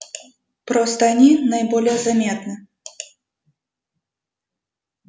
просто они наиболее заметны